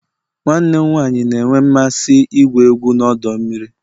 Nwanne m nwanyị na-enwe mmasị igwu egwu na ọdọ mmiri